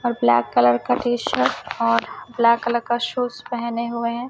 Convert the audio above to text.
और black colour का T-shirt और ब्लैक कलर का शूज पहने हुए हैं।